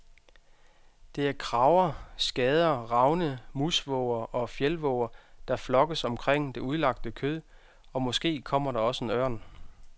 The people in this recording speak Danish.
Det er krager, skader, ravne, musvåger og fjeldvåger, der flokkes omkring det udlagte kød, og måske kommer der også en ørn.